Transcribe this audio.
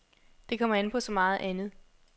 Det kommer an på så meget andet.